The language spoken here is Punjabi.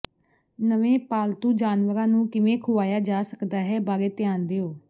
ਨਵੇਂ ਪਾਲਤੂ ਜਾਨਵਰਾਂ ਨੂੰ ਕਿਵੇਂ ਖੁਆਇਆ ਜਾ ਸਕਦਾ ਹੈ ਬਾਰੇ ਧਿਆਨ ਦਿਉ